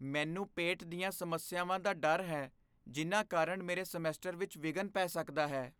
ਮੈਨੂੰ ਪੇਟ ਦੀਆਂ ਸਮੱਸਿਆਵਾਂ ਦਾ ਡਰ ਹੈ ਜਿੰਨਾਂ ਕਾਰਣ ਮੇਰੇ ਸਮੈਸਟਰ ਵਿੱਚ ਵਿਘਨ ਪੈ ਸਕਦਾ ਹੈ।